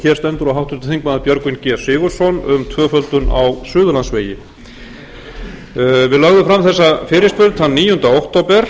og háttvirtir þingmenn björgvin g sigurðsson um tvöföldun á suðurlandsvegi við lögðum fram þessa fyrirspurn þann níunda október